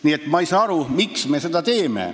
Nii et ma ei saa aru, miks me seda teeme.